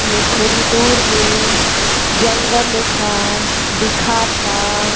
न थोड़ी दूर में जंगल एक ह दिखता।